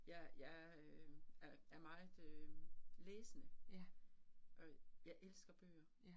Jeg jeg øh er er meget øh læsende, og jeg elsker bøger